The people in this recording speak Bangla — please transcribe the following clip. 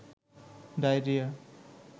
ডায়রিয়া